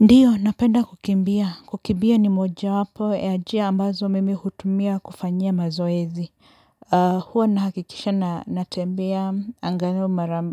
Ndio, napenda kukimbia. Kukimbia ni moja wapo, ya jia ambazo mimi hutumia kufanyia mazoezi. Hua nahakikisha na natembea angalau mara